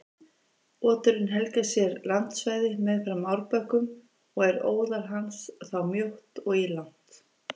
Oturinn helgar sér landsvæði meðfram árbökkum og er óðal hans þá mjótt og ílangt.